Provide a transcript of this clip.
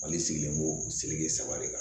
Mali sigilen b'o sirilen saba de kan